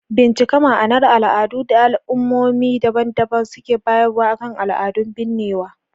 Bincika ma'anar al'adun da al'ummomi daban-daban suke bayarwa akan al'adun binnewa.